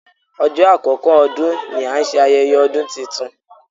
Ọjọ́ àkọ́kọ́ ọdún ni a ń ṣe ayẹyẹ ọdún titun.